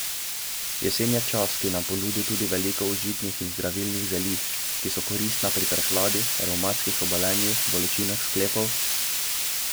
Jesen je čas, ki nam ponudi tudi veliko užitnih in zdravilnih zelišč, ki so koristna pri prehladih, revmatskih obolenjih, bolečinah sklepov ...